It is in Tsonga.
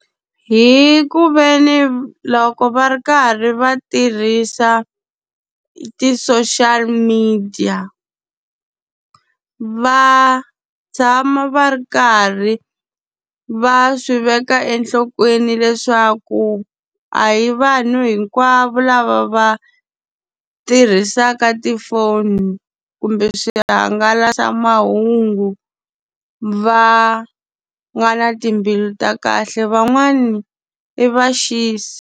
Hi ku ve ni loko va ri karhi va tirhisa ti-social media, va tshama va ri karhi va swi veka enhlokweni leswaku a hi vanhu hinkwavo lava va tirhisaka tifoni kumbe swihangalasamahungu, va nga na timbilu ta kahle. Van'wani i vaxisi.